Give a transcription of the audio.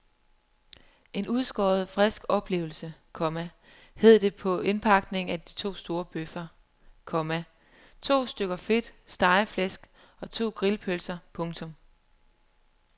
En udskåret frisk oplevelse, komma hed det på indpakningen med de to bøffer, komma to stykker fedt stegeflæsk og to grillpølser. punktum